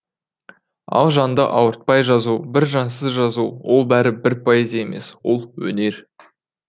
ал жанды ауыртпай жазу бір жансыз жазу ол бәрі бір поэзия емес ол өнер